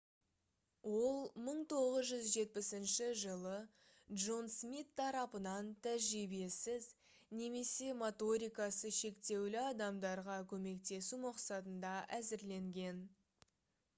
ол 1970 жылы джон смит тарапынан тәжірибесіз немесе моторикасы шектеулі адамдарға көмектесу мақсатында әзірленген